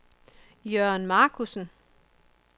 Jørn Markussen